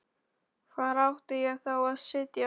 Hvar átti ég þá að sitja?